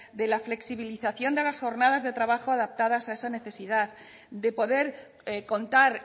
de la flexibilización de las jornadas de trabajo adaptadas a esa necesidad de poder contar